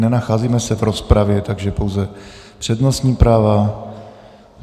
Nenacházíme se v rozpravě, takže pouze přednostní práva.